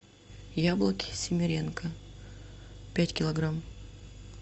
яблоки симиренко пять килограмм